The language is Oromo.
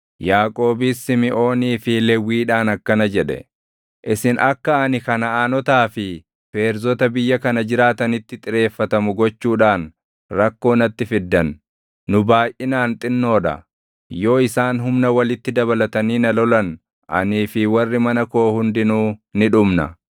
Yaaqoobis Simiʼoonii fi Lewwiidhaan akkana jedhe; “Isin akka ani Kanaʼaanotaa fi Feerzota biyya kana jiraatanitti xireeffatamu gochuudhaan rakkoo natti fiddan. Nu baayʼinaan xinnoo dha; yoo isaan humna walitti dabalatanii na lolan anii fi warri mana koo hundinuu ni dhumna.”